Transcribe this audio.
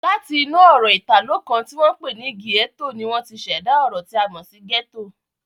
Láti inú ọ̀rọ̀ Ìtàló kan ti wọ́n pè ní "gietto" ni wọ́n ti ṣẹ̀dá ọ̀rọ̀ tí a mọ̀ sí "ghetto"